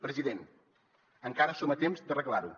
president encara som a temps d’arreglar ho